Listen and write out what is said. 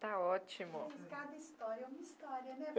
Está ótimo. Cada história é uma história né?